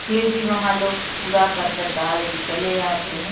फिर भी वहां लोग कूड़ा करकट डाल के चले आते हैं।